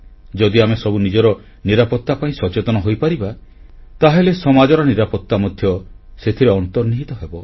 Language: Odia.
ଯଦି ଆମେ ସବୁ ନିଜର ନିରାପତ୍ତା ପାଇଁ ସଚେତନ ହୋଇପାରିବା ତାହେଲେ ସମାଜର ନିରାପତ୍ତା ମଧ୍ୟ ସେଥିରେ ଅନ୍ତର୍ନିହିତ ହେବ